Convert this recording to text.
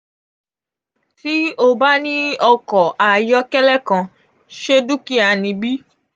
ti o ba ni ọkọ ayọkẹlẹ kan ṣe dukia ni bi?